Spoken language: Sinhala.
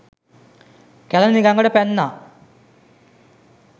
කැළණි ගඟට පැන්නා.